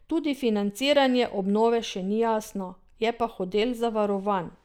Tudi financiranje obnove še ni jasno, je pa hotel zavarovan.